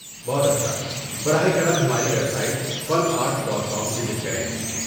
بہت اچھا براہ کرم ہماری website fun art dot com visit کریں